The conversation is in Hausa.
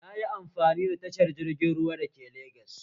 Nayi amfani da tashar jiragen ruwa da ke Legas